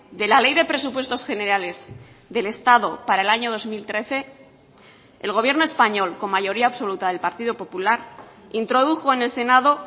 de la ley de presupuestos generales del estado para el año dos mil trece el gobierno español con mayoría absoluta del partido popular introdujo en el senado